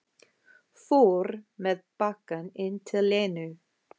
Fór með bakkann inn til Lenu.